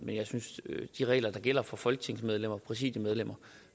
de regler der gælder for folketingsmedlemmer præsidiemedlemmer